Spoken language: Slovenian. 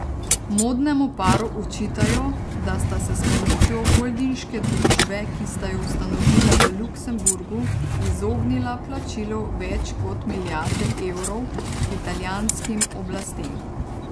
Modnemu paru očitajo, da sta se s pomočjo holdinške družbe, ki sta jo ustanovila v Luksemburgu, izognila plačilu več kot milijarde evrov italijanskim oblastem.